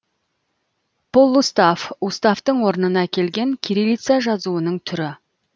полуустав уставтың орнына келген кириллица жазуының түрі